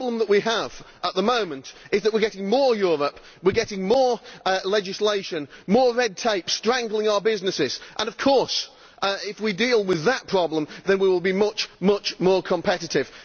The problem we have at the moment is that we are getting more Europe, we are getting more legislation, more red tape strangling our businesses and of course if we deal with that problem then we will be much more competitive.